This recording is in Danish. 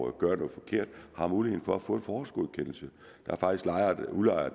at gøre noget forkert har mulighed for at få en forhåndsgodkendelse